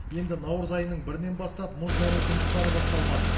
енді наурыз айының бірінен бастап мұз жару жұмыстары басталмақ